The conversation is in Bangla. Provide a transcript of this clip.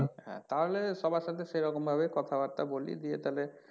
হ্যাঁ তাহলে সবার সাথে সেরকমভাবে কথা বার্তা বলি দিয়ে তাহলে,